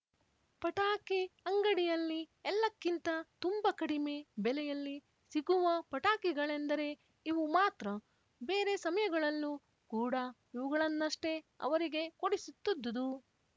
ಪಟಾಕಿ ಅಂಗಡಿಯಲ್ಲಿ ಎಲ್ಲಕ್ಕಿಂತ ತುಂಬ ಕಡಿಮೆ ಬೆಲೆಯಲ್ಲಿ ಸಿಗುವ ಪಟಾಕಿಗಳೆಂದರೆ ಇವು ಮಾತ್ರ ಬೇರೆ ಸಮಯಗಳಲ್ಲೂ ಕೂಡ ಇವುಗಳನ್ನಷ್ಟೇ ಅವರಿಗೆ ಕೊಡಿಸುತ್ತಿದ್ದುದು